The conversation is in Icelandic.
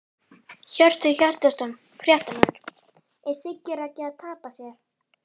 Hjörtur Hjartarson, fréttamaður: Er Siggi Raggi að tapa sér?!